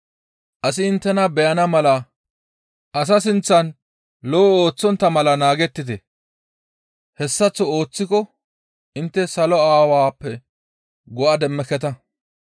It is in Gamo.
«Asi inttena beyana mala asa sinththan lo7o ooththontta mala naagettite; hessaththo ooththiko intte salo Aawappe go7a demmeketa.